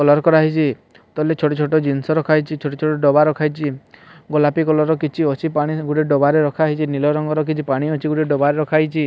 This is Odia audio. କଲର୍ କରାହେଇଛି ତଲେ ଛୋଟ ଛୋଟ ଜିନଷ ରଖାହେଇଛି ଛୋଟ ଛୋଟ ଡବା ରଖାହେଇଛି ଗୋଲାପି କଲର୍ ର କିଛି ଅଛି ପାଣି ଗୋଟେ ଡବା ରେ ରଖାହେଇଛି ନୀଲ ରଙ୍ଗର କିଛି ପାଣି ଅଛି ଗୋଟେ ଡବା ରେ ରଖାହେଇଛି।